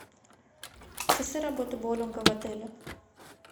часы работы боулинга в отеле